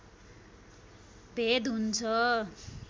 भेद हुन्छ